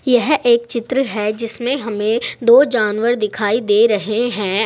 यह एक चित्र है जिसमें हमें दो जानवर दिखाई दे रहे हैं।